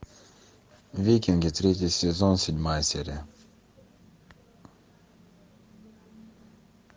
викинги третий сезон седьмая серия